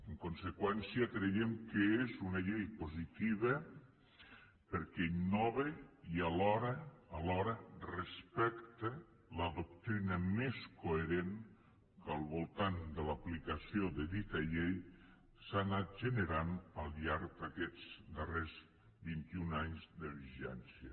en conseqüència creiem que és una llei positiva perquè innova i alhora respecta la doctrina més coherent que al voltant de l’aplicació de la dita llei s’ha anat generant al llarg d’aquests darrers vint i un anys de vigència